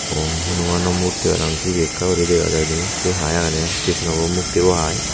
okkorey Hanuman murti parapang cibi ekka gori dega jai di say hai agede Krishnabu mukti bu hai.